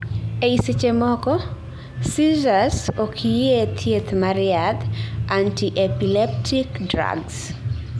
ei sechemoko, seizures okyie thieth mar yadh anti-epileptic drugs